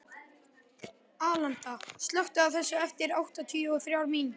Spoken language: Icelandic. Alanta, slökktu á þessu eftir áttatíu og þrjár mínútur.